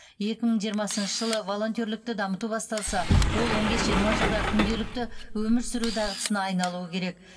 екі мың жиырмасыншы жылы волонтерлікті дамыту басталса ол он бес жиырма жылда күнделікті өмір сүру дағдысына айналуы керек